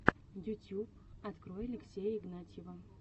ютьюб открой алексея игнатьева